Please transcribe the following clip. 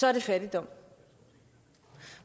er det fattigdom